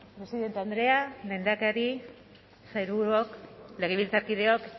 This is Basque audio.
presidente andrea lehendakari sailburuok legebiltzarkideak